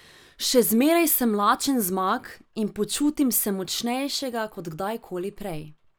Še zmeraj sem lačen zmag in počutim se močnejšega kot kdajkoli prej.